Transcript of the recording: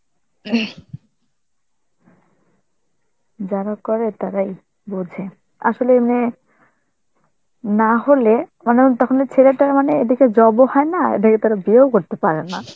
যারা করে তারাই বোঝে. আসলে মেয়ে না হলে, মানে তখনই ছেলেটার মানে এদিকে job ও হয় না, আর এদিকে তারা বিয়েও করতে পারেনা